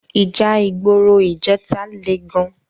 Íjà igbóró ijètá lé gán